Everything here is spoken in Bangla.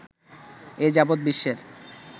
এ যাবৎ বিশ্বের